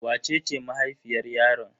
Wace ce mahaifiyar yaron?